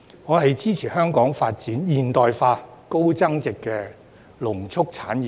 我支持香港發展現代化、高增值的農畜產業。